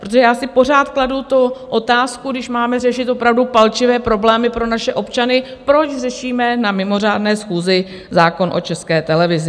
Protože já si pořád kladu tu otázku, když máme řešit opravdu palčivé problémy pro naše občany, proč řešíme na mimořádné schůzi zákon o České televizi?